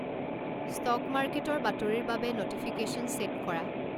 stock মাৰ্কেটৰ বাতৰিৰ বাবে ন'টিফিকেশ্যন ছে'ট কৰা